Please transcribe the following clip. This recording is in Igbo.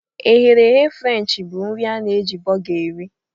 Eherehe frenchi bu nri a na eji boga eri.